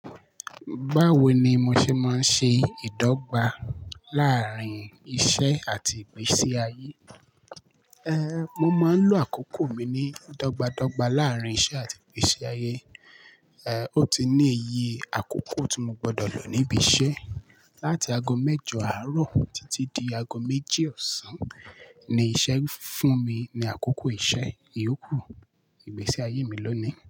Báwo ni mo ṣe máa ń ṣe ìdọ́gba láàárín iṣẹ́ àti ìgbésí ayé? Ehn, mo máa ń lo àkókò mi ní dọ́gba dọ́gba láàárín iṣẹ́ àti ìgbésí ayé. Ehn, ó ti ní iye àkókò tí mo gbọdọ̀ lò níbí iṣẹ́. Láti ago mẹ́jọ àárọ̀ títí di ago méjì ọ̀sán ni iṣẹ́ ń fún mi ní àkókò iṣẹ́, ìyókù ìgbésí ayé mi ló ni.